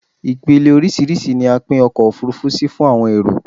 Ipele orísírìsí ni a pin ọkò òfurufú si fún àwọn èrò